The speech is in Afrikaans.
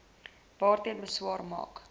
daarteen beswaar maak